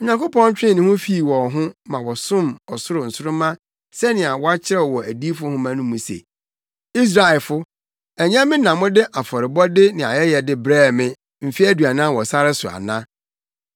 Onyankopɔn twee ne ho fii wɔn ho ma wɔsom ɔsoro nsoromma sɛnea wɔakyerɛw wɔ adiyifo nhoma mu se, “ ‘Israelfo, ɛnyɛ me na mode afɔrebɔde ne ayɛyɛde brɛɛ me mfe aduanan wɔ sare so ana?